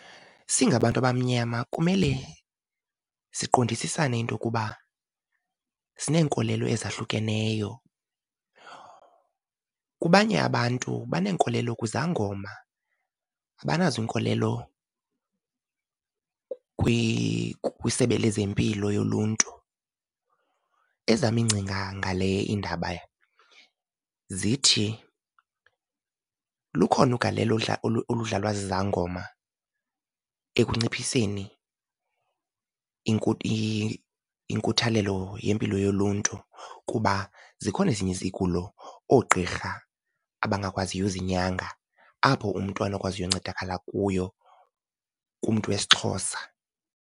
Singabantu abamnyama kumele siqondisisane into yokuba sineenkolelo ezahlukeneyo. Kubanye abantu baneenkolelo kwizangoma abanazinkolelo kwisebe lezempilo yoluntu. Ezam iingcinga ngale indaba zithi lukhona ugalelo oludlalwa zizangoma ekunciphiseni inkuthalelo yempilo yoluntu, kuba zikhona ezinye izigulo oogqirha abangakwaziyo uzinyanga, apho umntu anokwaziyo uncedakala kuyo kumntu wesiXhosa.